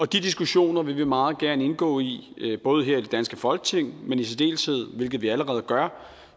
de diskussioner vil vi meget gerne indgå i både her i det danske folketing men i særdeleshed hvilket vi allerede gør